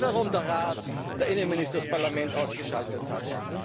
gibt? Ich weiß, warum der Rat der Innenminister das Parlament ausgeschaltet